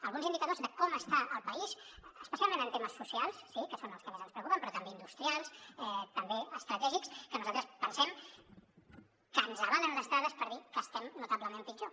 alguns indicadors de com està el país especialment en temes socials sí que són els que més ens preocupen però també industrials també estratègics que nosaltres pensem que ens avalen les dades per dir que estem notablement pitjor